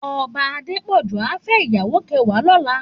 Òbá Adepoju á fè iyàwó kèwàá lòlá